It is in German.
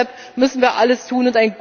Deshalb müssen wir alles tun.